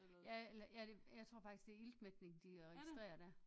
Ja eller ja jeg tror faktisk det er iltmætning de registrerer dér